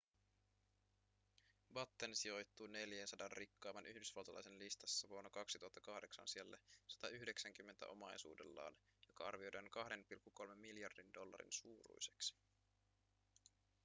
batten sijoittui 400 rikkaimman yhdysvaltalaisen listassa vuonna 2008 sijalle 190 omaisuudellaan joka arvioidaan 2,3 miljardin dollarin suuruiseksi